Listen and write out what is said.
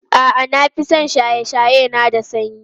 A'a, na fi son shaye-shaye na da sanyi.